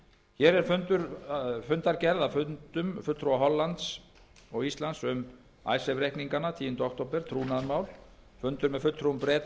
hér er fundargerð að fundum fulltrúa hollands og íslands um icesave reikningana tíunda október trúnaðarmál fundur með fulltrúum breta